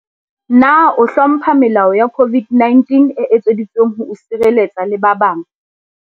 Na o hlompha melao ya COVID-19 e etseditsweng ho o sireletsa le ba bang?